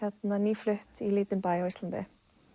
nýflutt í lítinn bæ á Íslandi